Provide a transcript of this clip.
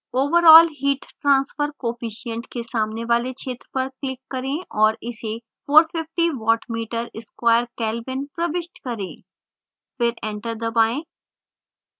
overall heat transfer coefficient के सामने वाले क्षेत्र पर click करें और इसे 450 watt meter sqaure kelvin प्रविष्ट करें